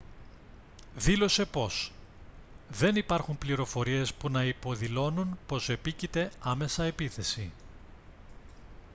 δήλωσε πως «δεν υπάρχουν πληροφορίες που να υποδηλώνουν πως επίκειται άμεσα επίθεση